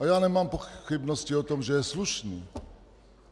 A já nemám pochybnosti o tom, že je slušný.